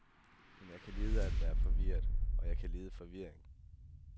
Men jeg kan lide at være forvirret, og jeg kan lide forvirring.